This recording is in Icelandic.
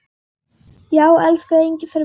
Já, elsku Engifer minn.